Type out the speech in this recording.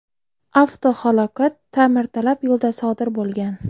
Avtohalokat ta’mirtalab yo‘lda sodir bo‘lgan.